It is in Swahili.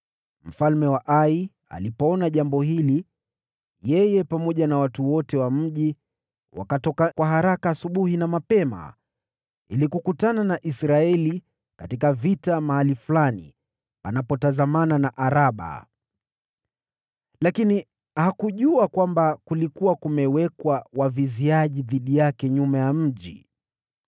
Mfalme wa Ai alipoona jambo hili, yeye pamoja na watu wote wa mji wakatoka kwa haraka asubuhi na mapema, ili kukutana na Israeli katika vita mahali fulani panapotazamana na Araba. Lakini hakujua kwamba kulikuwa kumewekwa waviziaji dhidi yake nyuma ya mji.